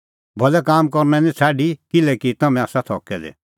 भलै काम करनै निं छ़ाडी किल्हैकि तम्हैं आसा थकै दै